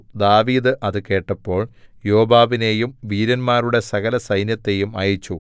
ദാവീദ് അത് കേട്ടപ്പോൾ യോവാബിനെയും വീരന്മാരുടെ സകലസൈന്യത്തെയും അയച്ചു